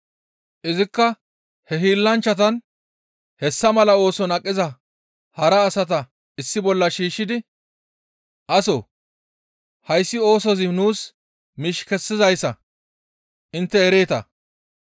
Izikka he hiillanchchatan hessa mala ooson aqiza hara asata issi bolla shiishshidi, «Asoo! Hayssi oosozi nuus miish kessizayssa intte ereeta.